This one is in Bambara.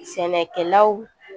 Sɛnɛkɛlaw